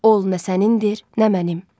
Ol nə sənindir, nə mənim.